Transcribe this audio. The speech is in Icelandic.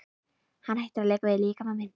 Hann hættir að leika við líkama minn.